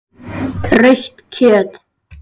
Rautt kjöt.